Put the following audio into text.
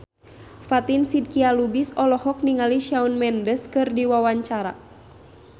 Fatin Shidqia Lubis olohok ningali Shawn Mendes keur diwawancara